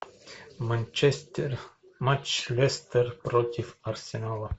манчестер матч лестер против арсенала